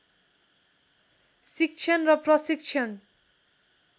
शिक्षण र प्रशिक्षण